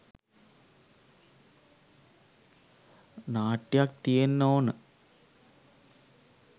නාට්‍යයක් තියෙන්න ඕන.